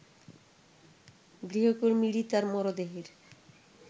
গৃহকর্মী রিতার মরদেহের